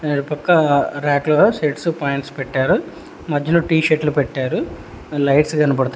అటు పక్కా రాక్లో షర్ట్సు పాయింట్స్ పెట్టారు మెజ్జలో టీ షర్ట్లు పెట్టారు లైట్స్ కనపడ--